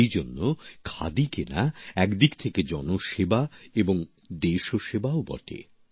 এইজন্য খাদি কেনা এক দিক থেকে জনসেবা এবং দেশসেবাও বটে